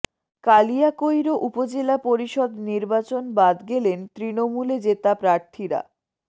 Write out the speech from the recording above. কালিয়াকৈর উপজেলা পরিষদ নির্বাচন বাদ গেলেন তৃণমূলে জেতা প্রার্থীরা